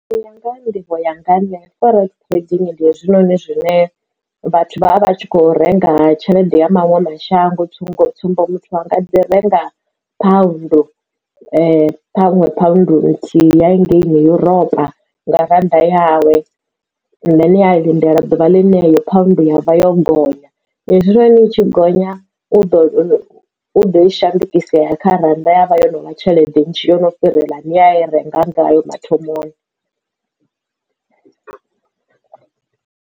U ya nga ha nḓivho yanga nṋe forex trading ndi hezwi noni zwine vhathu vha vha tshi kho renga tshelede ya maṅwe mashango tsumbo tsumbo muthu anga dzi renga pound ṱhanwe pound nthihi ya hangeini Europa nga rannda yawe then ya lindela ḓuvha ḽi yeneyo pound yavha yo gonya hezwinoni i tshi gonya u ḓo i shandukisa ya ya kha rannda ya vha yo novha tshelede nzhi yo no fhirela ine oya i renga ngayo mathomoni.